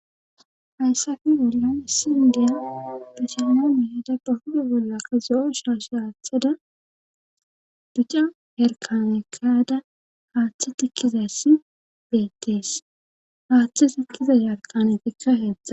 hayssafi bolla issi indiya basilaame dabba huda bollaka zo7o shaash haathada ducce herkanekada haaththe tikkizassi beettees haaththe tikkiza yarqanetikka heetzda